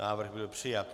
Návrh byl přijat.